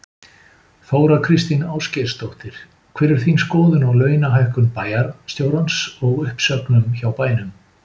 Þóra Kristín Ásgeirsdóttir: Hver er þín skoðun á launahækkun bæjarstjórans og uppsögnum hjá bænum?